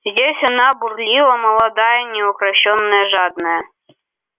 здесь она бурлила молодая неукрощенная жадная